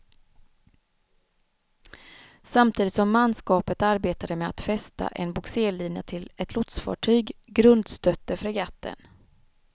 Samtidigt som manskapet arbetade med att fästa en bogserlinja till ett lotsfartyg, grundstötte fregatten.